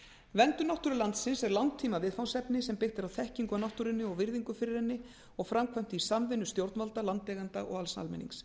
verndun náttúru landsins er langtíma viðfangsefni sem er byggt á þekkingu á náttúrunni og virðingu fyrir henni og framkvæmt í samvinnu stjórnvalda landeigenda og alls almennings